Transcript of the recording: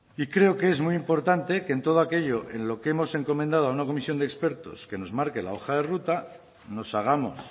y creo que es muy importante que en todo aquello en lo que hemos encomendado a una comisión de expertos que nos marque la hoja de ruta nos hagamos